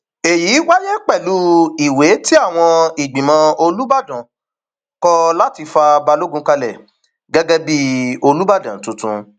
èyí wáyé pẹlú ìwé tí àwọn ìgbìmọ olùbàdàn um kọ láti fa balogun kalẹ gẹgẹ bíi um olùbàdàn tuntun